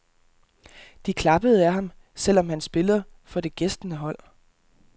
De klappede ad ham, selv om han spiller for det gæstende hold.